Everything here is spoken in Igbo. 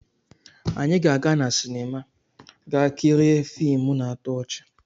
Anyị ga-aga na sinima ga kirie fiimu na-atọ ọchị.